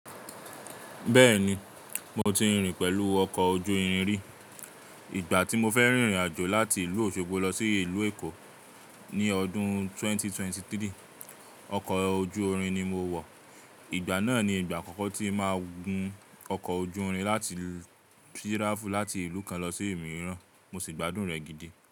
Bẹ́ẹ̀ni, mo ti rìn pẹ̀lú ọkọ̀ ojú irin rí. Ìgbà tí mo fẹ́ rìnrìn àjò láti ìlú Òṣogbo lọ sí ìlú Èkó ní ọdún 2023, ọkọ̀ ojú irin ni mo wọ̀. Ìgbà náà ni ìgbà àkọ́kọ́ tí máa gun ọkọ̀ ojú irin láti tí ráàfù láti ìlú kan lọ sí òmíràn, mo sì gbádùn rẹ̀ gidi.